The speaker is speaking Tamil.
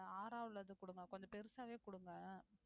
இந்த ஆறா உள்ளது குடுங்க கொஞ்சம் பெருசாவே குடுங்க